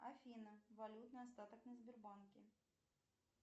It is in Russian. афина валютный остаток на сбербанке